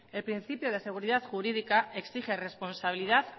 el principio de seguridad jurídica exige responsabilidad